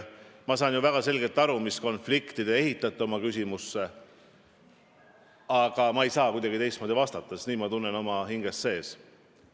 Ma saan väga selgelt aru, mis konflikti te oma küsimusega silmas pidasite, aga ma ei saa kuidagi teistmoodi vastata, sest nii ma oma hinges tunnen.